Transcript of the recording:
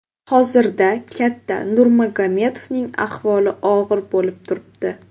Hozirda katta Nurmagomedovning ahvoli og‘ir bo‘lib turibdi.